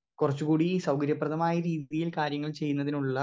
speaker 2 കൊറച്ചും കൂടി സൗകര്യ പ്രദമായ രീതീൽ കാര്യങ്ങൾ ചെയ്യുന്നതിനുള്ള